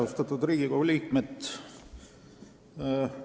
Austatud Riigikogu liikmed!